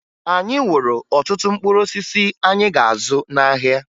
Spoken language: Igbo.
Anyị wuru ọtụtụ mkpụrụosisi anyị ga-azụ n'ahịa